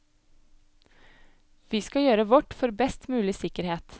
Vi skal gjøre vårt for best mulig sikkerhet.